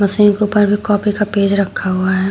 Copy का page रखा हुआ है।